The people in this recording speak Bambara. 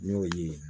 N'o ye